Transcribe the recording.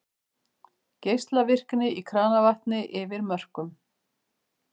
Geislavirkni í kranavatni yfir mörkum